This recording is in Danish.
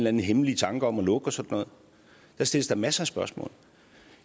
anden hemmelig tanke om at lukke og sådan noget der stilles da masser af spørgsmål